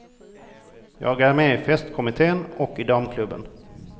Jag är med i festkommittén och i damklubben.